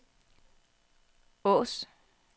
Asaa